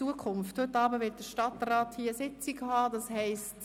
Zweitens: Heute Abend wird der Stadtrat hier im Saal Sitzung haben.